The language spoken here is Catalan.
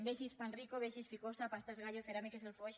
vegeu panrico vegeu ficosa pastas gallo ceràmiques del foix